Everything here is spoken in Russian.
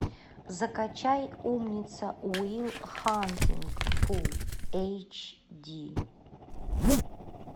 закачай умница уилл хантинг фул эйч ди